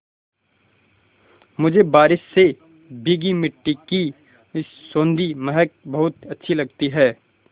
मुझे बारिश से भीगी मिट्टी की सौंधी महक बहुत अच्छी लगती है